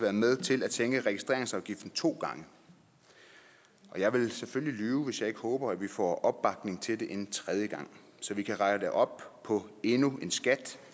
været med til at sænke registreringsafgiften to gange og jeg ville selvfølgelig lyve hvis jeg ikke håber at vi får opbakning til at gøre det en tredje gang så vi kan rette op på endnu en skat